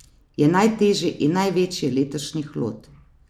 Je najtežji in največji letošnji hlod.